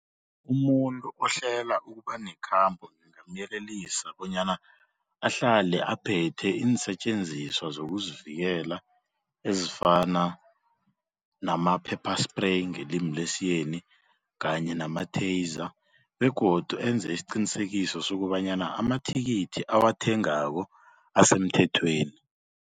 Umuntu ohlela ukuba nekhambo ngingamyelelisa bonyana ahlale aphethe iinsetjenziswa zokuzivikela ezifana nama- pepper spray ngelimi lesiyeni kanye nama-taser begodu enze isiqinisekiso sokobanyana amathikithi awathengako asemthethweni.